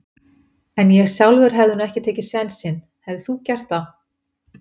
En ég sjálfur hefði nú ekki tekið sénsinn, hefðir þú gert það?